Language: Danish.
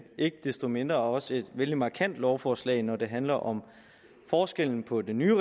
ikke desto mindre også et vældig markant lovforslag når det handler om forskellen på den nye